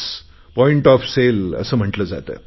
point of sale असे म्हटले जाते